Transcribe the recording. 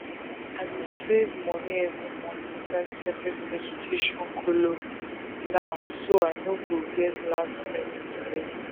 i dey save money every month inside separate education kolo now so i no go get last minute delay